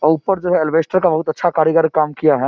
और ऊपर जो है ऐलबैस्टर का बहुत अच्छा कारीगरी काम किया है।